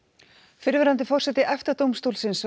fyrrverandi forseti EFTA dómstólsins var